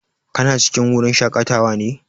Kana cikin wurin shaƙatawa ne?